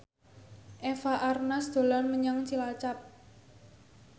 Eva Arnaz dolan menyang Cilacap